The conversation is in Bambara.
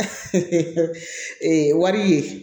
ee wari ye